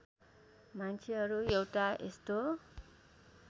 मान्छेहरू एउटा यस्तो